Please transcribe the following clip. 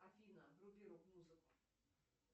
афина вруби рок музыку